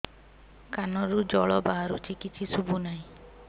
କାନରୁ ଜଳ ବାହାରୁଛି କିଛି ଶୁଭୁ ନାହିଁ